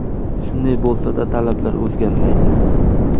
Shunday bo‘lsada talablar o‘zgarmaydi.